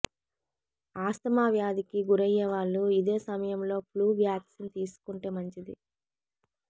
asthma వ్యాధికి గురయ్యేవాళ్లు ఇదే సమయంలో ఫ్లూ వాక్సిన్ తీసుకుంటే మంచిది